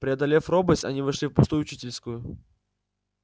преодолев робость они вошли в пустую учительскую